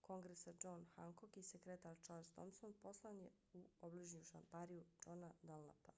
kongresa john hancock i sekretar charles thomson poslan je u obližnju štampariju johna dunlapa